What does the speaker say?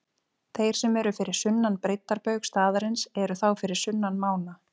Þeir sem eru fyrir sunnan breiddarbaug staðarins eru þá fyrir sunnan mána.